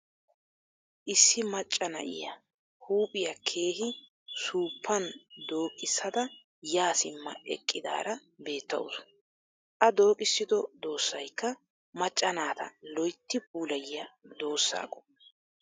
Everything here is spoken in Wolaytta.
Issi macca na'iya huuphiya keehi suuppan dooqisaada yaa simma eqqidaara beettawusu. A dooqissido doossayikka macca naataa loyitti puulayiya doossaa qommo.